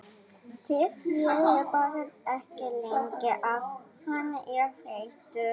Tefjið bara ekki lengi ef hann er þreyttur